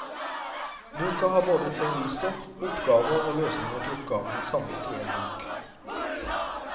Boka har både teoristoff, oppgaver og løsninger til oppgavene samlet i en bok.